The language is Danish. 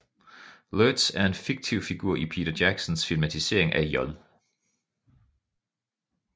Lurtz er en fiktiv figur i Peter Jacksons filmatisering af J